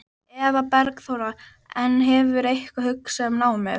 Eva Bergþóra: En hefurðu eitthvað hugsað um námið?